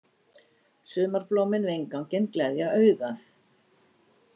Sumarblómin við innganginn gleðja augað.